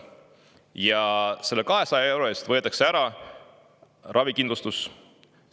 Ja selle 200 euro eest võetakse ära ravikindlustus.